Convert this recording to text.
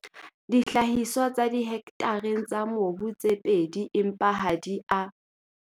Dihlahiswa tsa ka dihektareng tsa mobu tse pedi empa ha di a.